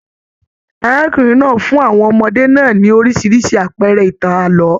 Arákùnrin náà fún àwọn ọmọdé náà ní oríṣiríṣi àpẹẹrẹ ìtàn ààlọ́.